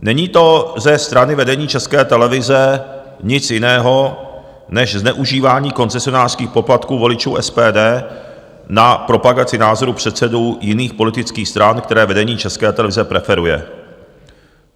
Není to ze strany vedení České televize nic jiného než zneužívání koncesionářských poplatků voličů SPD na propagaci názorů předsedů jiných politických stran, které vedení České televize preferuje.